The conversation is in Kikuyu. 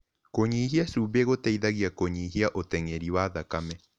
Kũnyĩhĩa cũmbĩ gũteĩthagĩa kũnyĩhĩa ũtengerĩ wa thakame